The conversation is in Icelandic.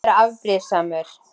Að vera afbrýðisamur.